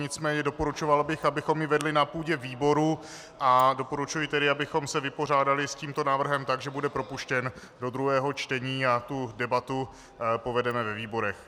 Nicméně doporučoval bych, abychom ji vedli na půdě výboru, a doporučuji tedy, abychom se vypořádali s tímto návrhem tak, že bude propuštěn do druhého čtení a tu debatu povedeme ve výborech.